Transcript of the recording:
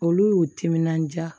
Olu y'u timinandiya